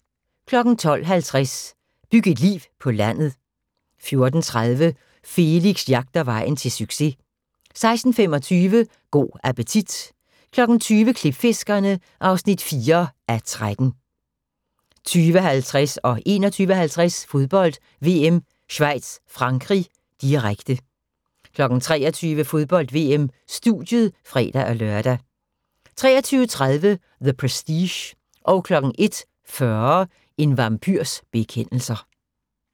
12:50: Byg et liv på landet 14:30: Felix jagter vejen til succes 16:25: Go' appetit 20:00: Klipfiskerne (4:13) 20:50: Fodbold: VM - Schweiz-Frankrig, direkte 21:50: Fodbold: VM - Schweiz-Frankrig, direkte 23:00: Fodbold: VM - studiet (fre-lør) 23:30: The Prestige 01:40: En vampyrs bekendelser